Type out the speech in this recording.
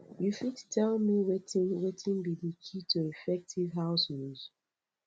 you fit tell me wetin wetin be di key to effective house rules